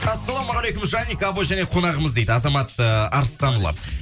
ассалаумағалейкум және қонағымыз дейді азамат ы арыстанұлы